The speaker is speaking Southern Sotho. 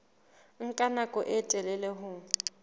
nka nako e telele ho